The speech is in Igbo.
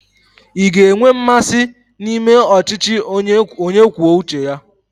Ị ga-enwe mmasị na ịme ọchịchị onye kwuo uche ya?